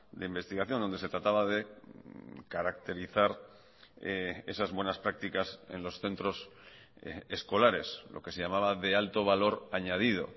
de investigación donde se trataba de caracterizar esas buenas prácticas en los centros escolares lo que se llamaba de alto valor añadido